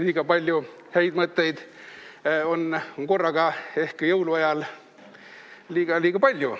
Liiga palju häid mõtteid korraga on ehk jõuluajal liiga palju.